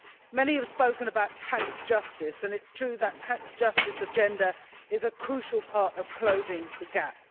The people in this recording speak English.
Many Members have spoken about tax justice and it is true that the tax justice agenda is a crucial part of closing the gap.